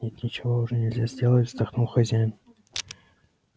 нет ничего уже нельзя сделать вздохнул хозяин